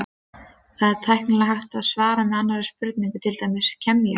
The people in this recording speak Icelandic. Það væri tæknilega hægt að svara með annarri spurningu, til dæmis: Kem ég?